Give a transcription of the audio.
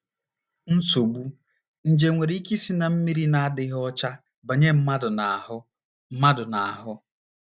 NSOGBU: Nje nwere ike isi ná mmiri na - adịghị ọcha banye mmadụ n’ahụ́ mmadụ n’ahụ́.